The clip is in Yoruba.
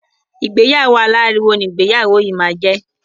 Ìgbéyàwó aláriwo ni ìgbéyàwó yìí máa jẹ.